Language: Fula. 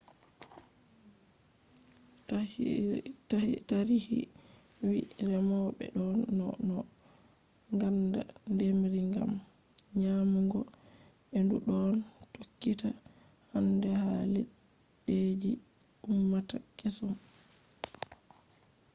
tarihi wi'i remoɓe ɗon no no ngaɗa ndemri ngam nyamugo e ndu ɗon tokkita hande ha leddije je ummata kesum